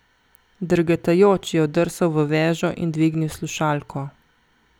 Drgetajoč je oddrsal v vežo in dvignil slušalko.